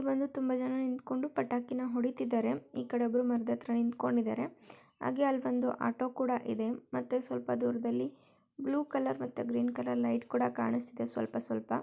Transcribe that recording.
ಇಲ್ಲಿ ಬಂದು ತುಂಬಾ ಜನ ನಿಂತ್ಕೊಂಡು ಪಟಾಕಿನ ಹೊಡಿತಿದ್ದಾರೆ ಈ ಕಡೆ ಒಬ್ರು ಮರದ ಹತ್ರ ನಿಂತಕೊಂಡಿದರೆ ಹಾಗೆ ಅಲ್ಲಿ ಬಂದು ಆಟೋ ಕೂಡ ಇದೆ ಮತ್ತೆ ಸ್ವಲ್ಪ ದೂರದಲ್ಲಿ ಬ್ಲೂ ಕಲರ್ ಮತ್ತೆ ಗ್ರೀನ್ ಕಲರ್ ಲೈಟ್ ಕೂಡ ಕಾಣಿಸ್ತಿದೆ ಸ್ವಲ್ಪ ಸ್ವಲ್ಪ--